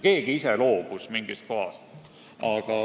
Keegi ise loobus mingist kohast.